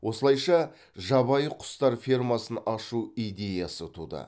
осылайша жабайы құстар фермасын ашу идеясы туды